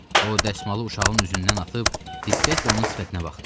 O dəsmalı uşağın üzündən atıb diqqətlə onun sifətinə baxdı.